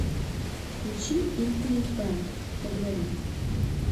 включи импринтбэнд благодарю